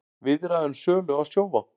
Viðræður um sölu á Sjóvá